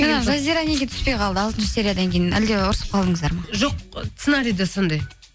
жаңа жазира неге түспей қалды алтыншы сериядан кейін әлде ұрысып қалдыңыздар ма жоқ сценариде сондай